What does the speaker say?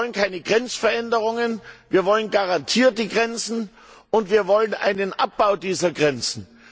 Wir wollen keine Grenzveränderungen, wir wollen garantierte Grenzen und wir wollen einen Abbau dieser Grenzen.